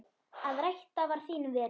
Að rækta var þín veröld.